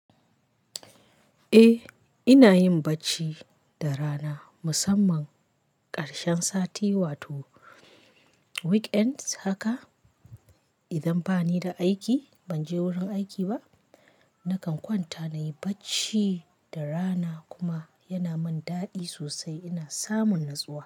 Eh, ina yin bacci da rana musamman ƙarshen sati wato weekend haka. Idan bani da aiki ban je wurin aiki ba, nakan kwanta na yi bacci da rana kuma yana min daɗi sosai. Ina samun natsuwa.